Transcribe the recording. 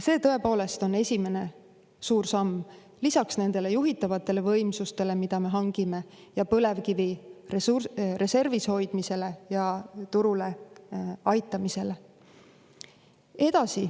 See tõepoolest on esimene suur samm lisaks nendele juhitavatele võimsustele, mida me hangime, põlevkivi reservis hoidmisele ja turule aitamisele.